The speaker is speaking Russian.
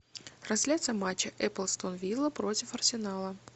трансляция матча апл астон вилла против арсенала